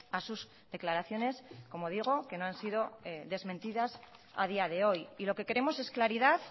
a sus declaraciones como digo que no han sido desmentidas a día de hoy y lo que queremos es claridad